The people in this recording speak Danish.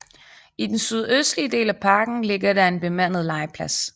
I den sydøstlige del af parken ligger der en bemandet legeplads